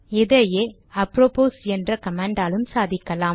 இதையே அப்ரோபோஸ் என்ற கமாண்டாலும் சாதிக்கலாம்